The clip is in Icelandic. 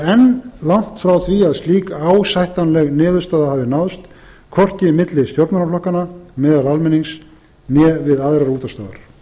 enn langt frá því að slík ásættanleg niðurstaða hafi náðst hvorki milli stjórnmálaflokkanna meðal almennings né við aðrar útvarpsstöðvar